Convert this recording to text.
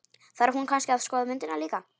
Þarf hún kannski að skoða myndirnar líka?